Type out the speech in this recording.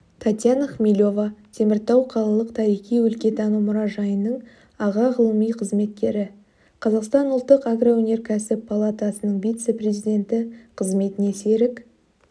татьяна хмелева теміртау қалалық тарихи-өлкетану мұражайының аға ғылыми қызметкері қазақстан ұлттық агроөнеркәсіп палатасының вице-президенті қызметіне серік